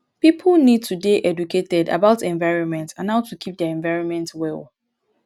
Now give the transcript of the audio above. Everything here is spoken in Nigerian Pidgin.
pipo need to dey educated about environment and how to keep their environment well